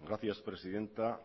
gracias presidenta